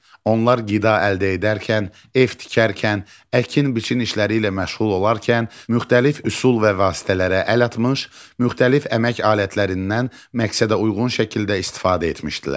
Onlar qida əldə edərkən, ev tikərkən, əkin-biçin işləri ilə məşğul olarkən müxtəlif üsul və vasitələrə əl atmış, müxtəlif əmək alətlərindən məqsədə uyğun şəkildə istifadə etmişdilər.